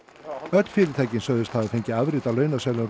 öll fyrirtækin sögðust hafa fengið afrit af launaseðlum